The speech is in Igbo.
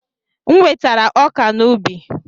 M wetara ọka n'ubi.